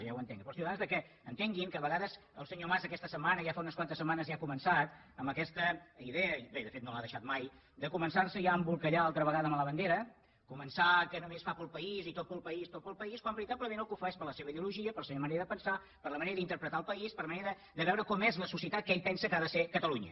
jo ja ho entenc per als ciutadans que entenguin que a vegades el senyor mas aquesta setmana i ja fa unes quantes setmanes ja ha començat amb aquesta idea i bé de fet no l’ha deixada mai de començar se ja a embolcallar altra vegada amb la bandera començar que només ho fa per al país i tot per al país tot per al país quan veritablement pel que ho fa és per la seva ideologia per la seva manera de pensar per la manera d’interpretar el país per la manera de veure com és la societat que ell pensa que ha de ser catalunya